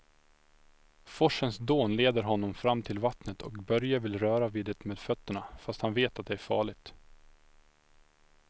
Forsens dån leder honom fram till vattnet och Börje vill röra vid det med fötterna, fast han vet att det är farligt.